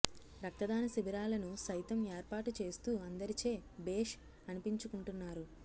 రక్తదాన శిబిరాలను సైతం ఏర్పాటు చేస్తూ అందరిచే భేష్ అనిపించుకుంటున్నారు